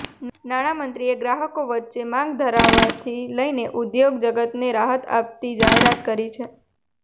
નાણાં મંત્રીએ ગ્રાહકો વચ્ચે માંગ વધારવાથી લઈને ઉદ્યોગ જગતને રાહત આપતી જાહેરાત કરી છે